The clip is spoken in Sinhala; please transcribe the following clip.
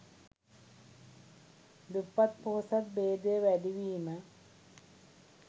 දුප්පත් පොහොසත් භේදය වැඩිවීම